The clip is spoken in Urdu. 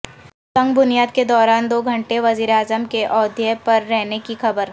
سنگ بنیاد کے دوران دو گھنٹے وزیر اعظم کے ایودھیا میں رہنے کی خبر